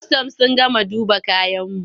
Kwastam sun gama duba kayanmu.